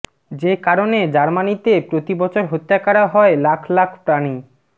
যে কারণে জামার্নিতে প্রতি বছর হত্যা করা হয় লাখ লাখ প্রাণী